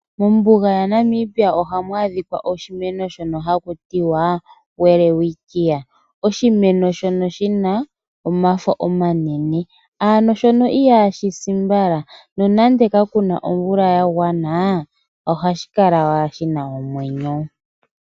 Mombuga ya Namibia ohamu adhikwa oshimeno shono haku tiwa Welwitchia. Oshimeno shono shina omafo omanene. Ano shono ihashi si mbala. Nonande ka kuna omvula ya gwana, ohashi kala wala shina omwenyo.